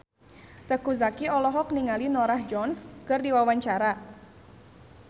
Teuku Zacky olohok ningali Norah Jones keur diwawancara